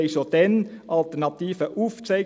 wir zeigten schon damals Alternativen auf.